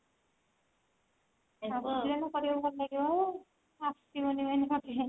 ଆସିଲେ ସିନା କରିବାକୁ ଭଲ ଲାଗିବ ଆସିବନି main